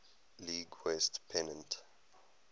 league west pennant